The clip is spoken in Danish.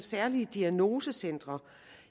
særlige diagnosecentre